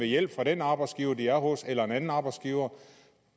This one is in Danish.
hjælp fra den arbejdsgiver som de er hos eller en anden arbejdsgiver